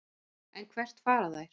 En hvert fara þær?